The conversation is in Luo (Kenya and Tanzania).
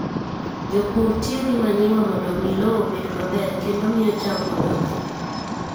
Jopur tiyo gi manyiwa mondo omi lowo obed maber kendo miyo cham odongi.